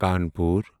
Kanpur